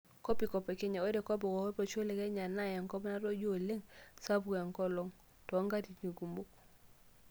Kopikop e Kenya:Ore kopikop olosho le Kenya naa enkop natoyio oleng' sapuk enkolong' toonkatitin kumok.